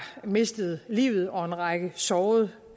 mistede livet og en række sårede